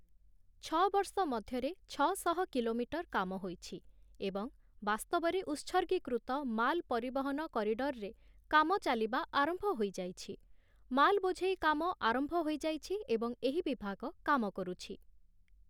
ଛଅ ବର୍ଷ ମଧ୍ୟରେ ଛଅ ଶହ କିଲୋମିଟର କାମ ହୋଇଛି ଏବଂ ବାସ୍ତବରେ ଉତ୍ସର୍ଗୀକୃତ ମାଲ ପରିବହନ କରିଡର୍‌ରେ କାମ ଚାଲିବା ଆରମ୍ଭ ହୋଇଯାଇଛି । ମାଲ୍ ବୋଝେଇ କାମ ଆରମ୍ଭ ହୋଇଯାଇଛି ଏବଂ ଏହି ବିଭାଗ କାମ କରୁଛି ।